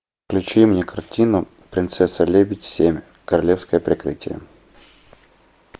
включи мне картину принцесса лебедь семь королевское прикрытие